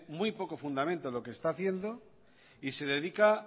muy poco fundamento lo que está haciendo y se dedica